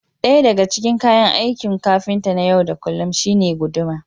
ɗaya daga cikin kayan aikin kafinta na yau da kullum shine guduma